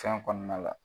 Fɛn kɔnɔna la